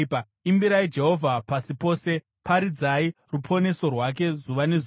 Imbirai Jehovha, pasi pose; paridzai ruponeso rwake zuva nezuva.